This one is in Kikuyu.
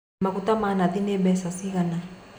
Magũta ma nathi nĩ mbeca cigana.